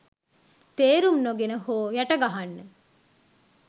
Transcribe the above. තේරුම් නොගෙන හෝ යට ගහන්න